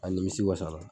A nimisi wasara